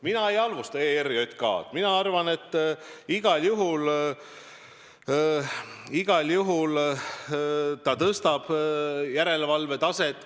Mina ei halvusta ERJK-d, aga ma arvan, et igal juhul Riigikontroll tõstab järelevalve taset.